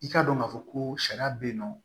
I k'a dɔn k'a fɔ ko sariya bɛ yen nɔ